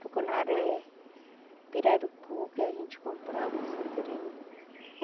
Tucunaré, pirarucu que a gente comprava em Santarém.